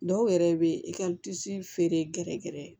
Dɔw yɛrɛ bɛ i ka feere gɛrɛgɛrɛ